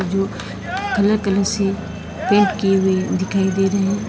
जो colour colour से paint किए हुए दिखाई दे रहे हैं।